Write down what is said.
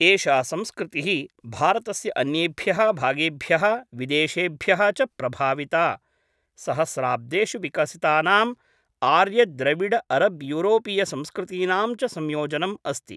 एषा संस्कृतिः भारतस्य अन्येभ्यः भागेभ्यः विदेशेभ्यः च प्रभाविता, सहस्राब्देषु विकसितानां आर्यद्रविडअरब्यूरोपीयसंस्कृतीनां च संयोजनम् अस्ति।